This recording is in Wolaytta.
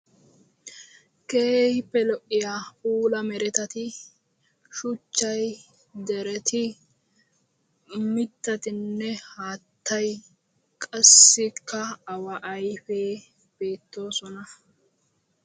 keehippe lo''iyaa puula merettati shuchchay dereti mittatinne haattay qassikka awaa ayfee beettoosona.